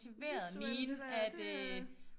Visuelt lidt øh det øh